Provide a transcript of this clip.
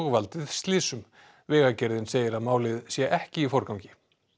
valdið slysum vegagerðin segir að málið sé ekki í forgangi